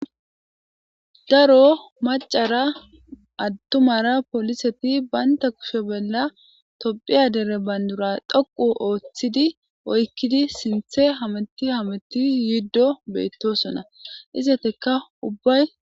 Daro macara addumara poliseti baynta kushe bolla tophiya dere bandura doqu ooththidi oykkidi sinthe hameti hameti yiddo beettosona izeteka ubbay.